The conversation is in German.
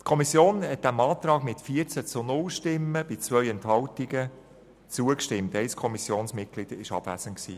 » Die Kommission hat diesem Antrag betreffend Auflage 1 mit 14 zu 0 Stimmen bei 2 Enthaltungen zugestimmt, wobei ein Kommissionsmitglied abwesend war.